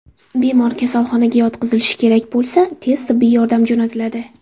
Bemor kasalxonaga yotqizilishi kerak bo‘lsa, tez tibbiy yordam jo‘natiladi.